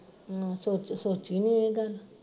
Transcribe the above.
ਆ ਸੋਚ ਸੋਚੀ ਓ ਇਹ ਗੱਲ